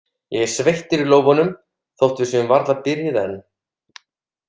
Ég er sveittur á lófunum, þótt við séum varla byrjuð enn.